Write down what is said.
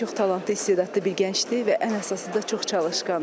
O çox talantlı, istedadlı bir gəncdir və ən əsası da çox çalışqandır.